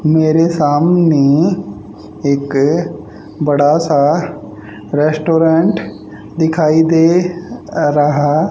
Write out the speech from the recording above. मेरे सामने एक बड़ा सा रेस्टोरेंट दिखाई दे रहा--